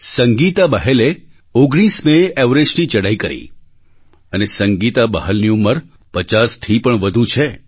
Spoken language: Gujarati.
સંગીતા બહેલે 19 મેએ એવરેસ્ટની ચડાઈ કરી અને સંગીતા બહલની ઉંમર 50થી પણ વધુ છે